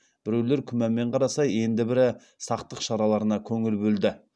біреулер күмәнмен қараса енді бірі сақтық шараларына көңіл бөлді